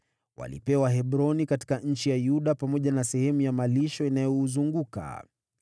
Walipewa Hebroni katika nchi ya Yuda pamoja na sehemu ya malisho inayouzunguka.